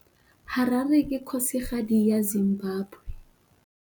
Harare ke kgosigadi ya Zimbabwe.